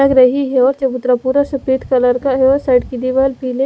लग रही है और चबूतरा पूरा सफेद कलर का है और साइड की दीवार पीले--